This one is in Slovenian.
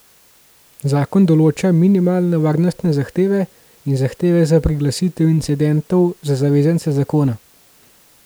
Zakon določa minimalne varnostne zahteve in zahteve za priglasitev incidentov za zavezance zakona.